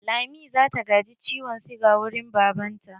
Lami zata gaji ciwon siga wurin baban ta.